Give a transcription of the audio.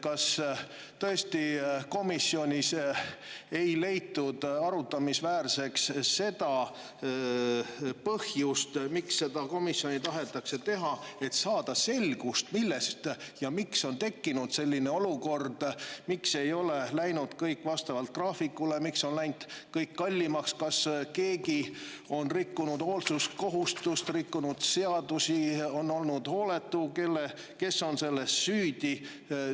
Kas tõesti komisjonis ei peetud arutamisväärseks seda põhjust, miks seda komisjoni tahetakse teha, et saada selgust, miks on tekkinud selline olukord, miks ei ole kõik läinud vastavalt graafikule, miks on kõik läinud kallimaks, kas keegi on rikkunud hoolsuskohustust, rikkunud seadust, olnud hooletu, kes on selles süüdi?